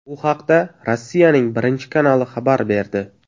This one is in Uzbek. Bu haqda Rossiyaning Birinchi kanali xabar berdi.